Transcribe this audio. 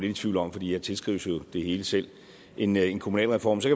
i tvivl om fordi jeg tilskrives jo det hele selv en en kommunalreform kan